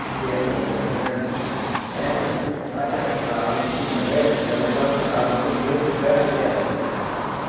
Porque aquela pedra grande, ela bate a a água em cima dela e ela corre a água tem que correr para o pé da pedra.